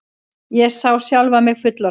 Ég sá sjálfa mig fullorðna.